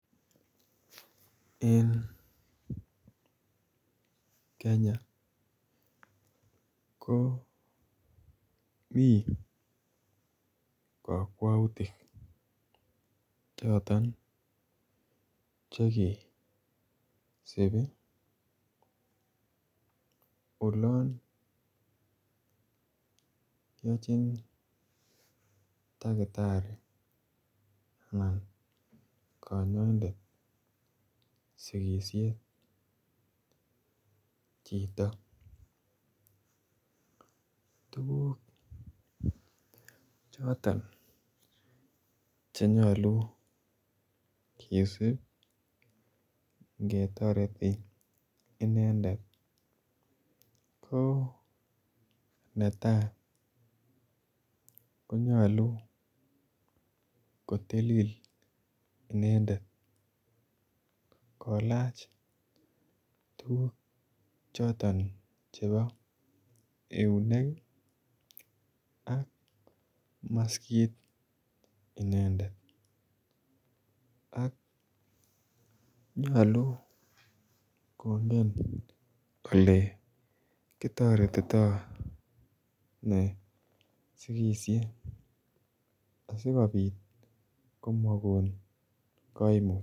Eng kenya ko Mii kakwautiik chotoon chekesibii ii olaan yachiin dakitarii anan kanyaindet sikisiet chito tuguuk chotoon che nyaluu kidiib ingetaretii inendet ko netai konyaluu kotilil inendet koilaach tuguuk chotoon chebo eunek ii ak maskiit inendet ak nyaluu kongeen kole kotaretii taa ne sikisie asikobiit komakoon kaimuut .